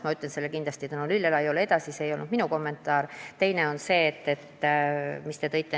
Ma ütlen selle kindlasti Tõnu Lillelaiule edasi, see ei olnud minu kommentaar.